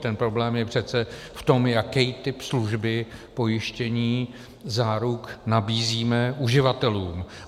Ten problém je přece v tom, jaký typ služby, pojištění, záruk nabízíme uživatelům.